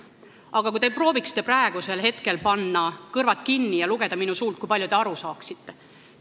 Aga kui te prooviksite praegu panna kõrvad kinni ja lugeda minu suult, kui palju te aru saaksite?